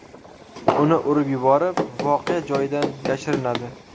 Uni urib yuborib, voqea joyidan yashirinadi.